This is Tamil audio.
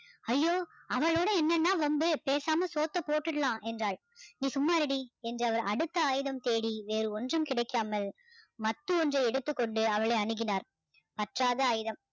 ஐயோ அவளோட என்னன்னா வம்பு பேசாம சோத்த போட்டுடலாம் என்றாள் நீ சும்மா இருடி என்று அடுத்த ஆயுதம் தேடி வேறு ஒன்றும் கிடைக்காமல் மத்து ஒன்றை எடுத்துக்கொண்டு அவளை அணுகினார் பற்றாத ஆயுதம்